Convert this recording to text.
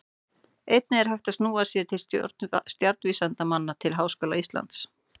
Einnig er hægt að snúa sér til stjarnvísindamanna við Háskóla Íslands.